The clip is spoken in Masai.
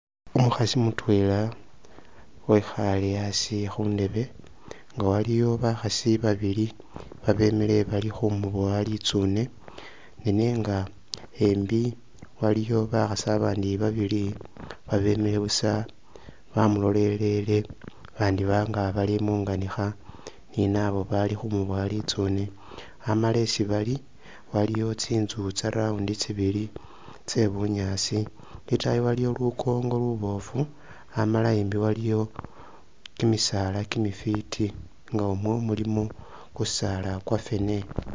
Umukhasi mutwela wekhale asi khundeebe nga waliyo bakhasi babili abemile bali khumubowa litsune nenga embi waliyo bakhasi abandi babili babemile busa bamulolelele bandibanga bali munganikha ninabo balikhumuboya litsune amala isi bali aliwo tsinzu tsa'round tsibili tse'bunyaasi itaayi waliyo lunkonko lubofu amala embi waliyo kimisaala kimifiti nga umwo ilimo kimisaala kwafene